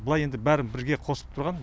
былай еді бәрін бірге қосып тұрған